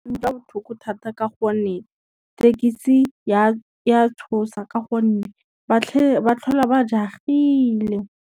Ke utlwa botlhoko thata ka gonne, tekisi ya tshosa ka gonne ba tlhola ba jagile.